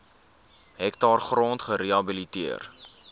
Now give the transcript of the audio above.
hektaar grond gerehabiliteer